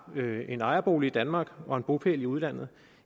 en ejerbolig i danmark og en bopæl i udlandet